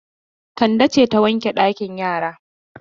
Kande ce ta wanke ɗakin yara?